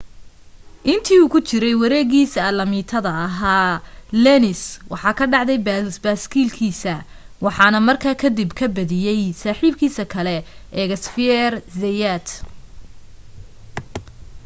inta uu ku jiray wareegiisa alaamitada ahaa lenz waxa ka dhacday baaskiilkiisa waxaana markaa kadib ka badiyay saaxiibkiis kale ee xavier zayat